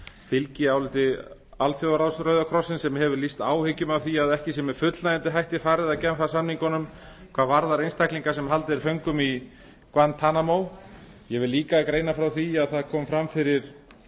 fylgi áliti alþjóðaráðs rauða krossins sem hefur lýst áhyggjum af því að ekki sé með fullnægjandi hætti farið að genfar samningunum hvað varðar einstaklinga sem haldið er föngnum guantanamo ég vil líka greina frá því að það kom fram fyrir